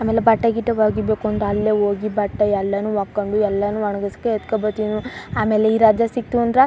ಆಮೇಲೆ ಬಟ್ಟೆಗಿಟ್ಟೆ ಒಗಿಬೇಕು ಅಂದ್ರೆ ಅಲ್ಲೆ ಒಗಿ ಬಟ್ಟೆ ಎಲ್ಲಾನು ಒಕ್ಕನ್ ಕೊಂಡು ಎಲ್ಲಾನು ಒಣಗ್ಸ್ ಎತ್ತ್ ಕೋ ಬತ್ತಿನು ಆಮೇಲೆ ಈ ರಜ ಸಿಕ್ಕತು ಅಂದ್ರೆ--